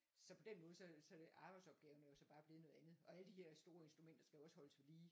Så på den måde så det så det arbejdsopgaverne er jo så bare blevet noget andet og alle de her store instrumenter skal jo også holdes vedlige